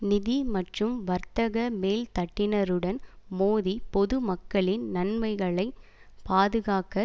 நிதி மற்றும் வர்த்தக மேல் தட்டினருடன் மோதி பொதுமக்களின் நன்மைகளை பாதுகாக்க